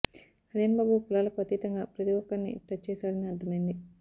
కళ్యాణ్ బాబు కులాలకు అతీతంగా ప్రతి ఒక్కరినీ టచ్ చేశాడని అర్థమైంది